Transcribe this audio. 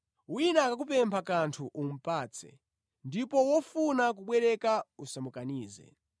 Wina akakupempha kanthu umupatse, ndipo wofuna kubwereka usamukanize.